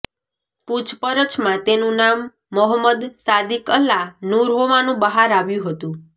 પુછપરછમાં તેનું નામ મોહંમદ સાદિક અલા નુર હોવાનું બહાર આવ્યું હતું